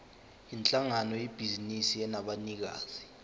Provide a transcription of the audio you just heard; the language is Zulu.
yinhlangano yebhizinisi enabanikazi